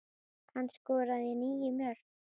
Hann skoraði níu mörk.